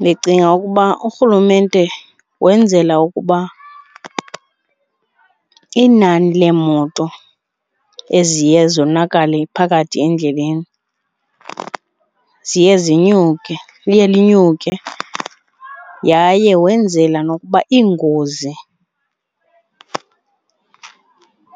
Ndicinga ukuba urhulumente wenzela ukuba inani leemoto eziye zonakale phakathi endleleni ziye zinyuke, liye lenyuke yaye wenzela nokuba iingozi